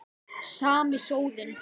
Sami sóðinn.